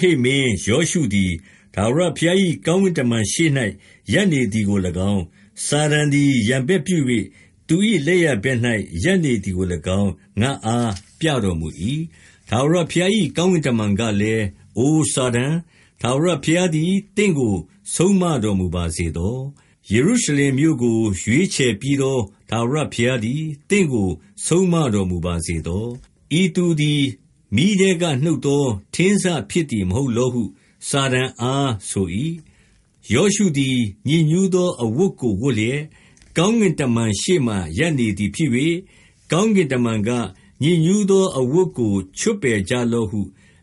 ဟိတ်မင်း ယောရှုသည် ထာဝရဘုရား၏ ကောင်းကင်တမန်ရှေ့၌ ရပ်နေသည်ကိုလည်းကောင်း၊ စာတန် သည် ရန်ဘက်ပြု၍ သူ၏လက်ယာဘက်၌ ရပ်နေသည်ကိုလည်းကောင်း ငါ့အားပြတော်မူ၏။ 2ထာဝရဘုရား၏ကောင်းကင်တမန်ကလည်း၊ အို စာတန်၊ ထာဝရဘုရားသည် သင့်ကို ဆုံးမတော်မူပါစေသော။ ယေရုရှလင်မြို့ကို ရွေးချယ်ပြီးသော ထာဝရဘုရားသည် သင့်ကို ဆုံးမတော်မူပါစေသော။ ဤသူသည် မီးထဲက နုတ်သောထင်းစဖြစ်သည် မဟုတ်လောဟု စာတန်အား ဆို၏။ 3ယောရှုသည် ညစ်ညူးသောအဝတ်ကို ဝတ်လျက်၊ ကောင်းကင်တမန်ရှေ့မှာ ရပ်နေသည်ဖြစ်၍၊ 4ကောင်းကင်တမန်က၊ ညစ်ညူးသောအဝတ်ကို ချွတ်ပယ်ကြလော့ဟု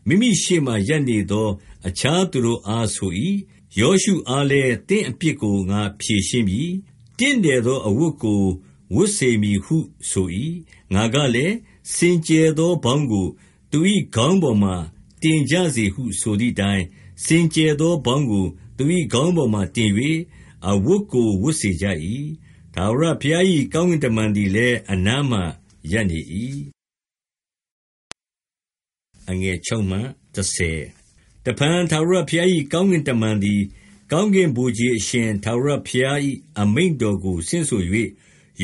မိမိရှေ့မှာ ရပ်နေသော အခြားသူတို့အား ဆို၏။ ယောရှုအားလည်း၊ သင့်အပြစ်ကို ငါဖြေရှင်းပြီ။ တင့်တယ်သော အဝတ်ကို ဝတ်စေမည်ဟု ဆို၏။ 5ငါကလည်း၊ စင်ကြယ်သောပေါင်းကို သူ၏ခေါင်းပေါ်မှာ တင်ကြစေဟု ဆိုသည်အတိုင်း၊ စင်ကြယ်သောပေါင်းကို သူ၏ခေါင်းပေါ်မှာ တင်၍ အဝတ်ကို ဝတ်စေကြ၏။ ထာဝရဘုရား၏ ကောင်းကင်တမန်သည်လည်း အနားမှာ ရပ်နေ၏။ 6တစ်ဖန် ထာဝရဘုရား၏ ကောင်းကင်တမန်သည် ကောင်းကင်ဗိုလ်ခြေအရှင် ထာဝရဘုရား၏အမိန့်တော်ကို ဆင့်ဆို၍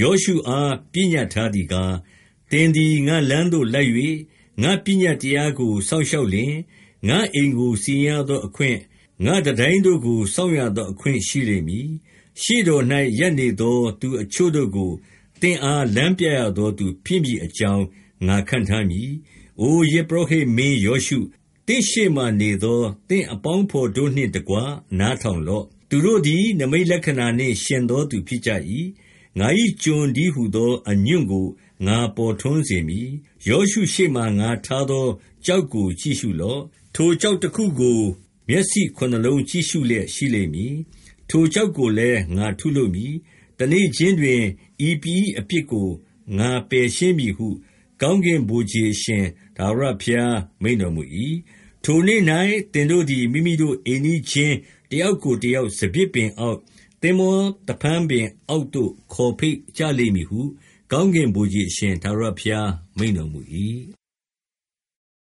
ယောရှုအား ပညတ်ထားသည်ကား၊ 7သင်သည် ငါ့လမ်းသို့လိုက်၍ ငါ့ပညတ်တရားကို စောင့်ရှောက်လျှင်၊ ငါ့အိမ်ကို စီရင်ရသောအခွင့်၊ ငါ့ တံတိုင်းတို့ကို စောင့်ရသောအခွင့် ရှိလိမ့်မည်။ ရှေ့တော်၌ရပ်နေသော သူအချို့တို့ကို၊ သင့်အား လမ်းပြရသောသူ ဖြစ်မည်အကြောင်း ငါခန့်ထားမည်။ 8အို ယဇ်ပုရောဟိတ်မင်းယောရှု၊ သင့်ရှေ့မှာနေသော သင့်အပေါင်းအဖော်တို့နှင့်တကွ နားထောင်လော့။ သူတို့သည် နိမိတ်လက္ခဏာနှင့် ယှဉ်သောသူ ဖြစ်ကြ၏။ ငါ၏ကျွန်တည်းဟူသော အညွန့်ကို ငါပေါ်ထွန်းစေမည်။ 9ယောရှုရှေ့မှာ ငါထားသောကျောက်ကို ကြည့်ရှုလော့။ ထိုကျောက်တစ်ခုကို မျက်စိခုနစ်လုံးကြည့်ရှုလျက်ရှိလိမ့်မည်။ ထိုကျောက်ကိုလည်း ငါထုလုပ်မည်။ တစ်နေ့ချင်းတွင် ဤပြည်၏အပြစ်ကို ငါပယ်ရှင်းမည်ဟု ကောင်းကင်ဗိုလ်ခြေအရှင် ထာဝရဘုရား မိန့်တော်မူ၏။ 10ထိုနေ့၌ သင်တို့သည် မိမိတို့ အိမ်နီးချင်း တစ်ယောက်ကိုတစ်ယောက် စပျစ်ပင်အောက်၊ သင်္ဘောသဖန်းပင် အောက်သို့ ခေါ်ဖိတ်ကြလိမ့်မည်ဟု ကောင်းကင်ဗိုလ်ခြေအရှင် ထာဝရဘုရားမိန့်တော်မူ၏။